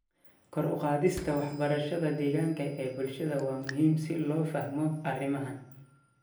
Kor u qaadista waxbarashada deegaanka ee bulshada waa muhiim si loo fahmo arrimahan.